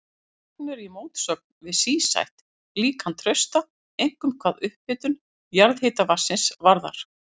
Þessi gögn eru í mótsögn við sístætt líkan Trausta, einkum hvað upphitun jarðhitavatnsins varðar.